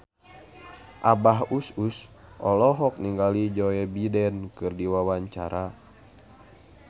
Abah Us Us olohok ningali Joe Biden keur diwawancara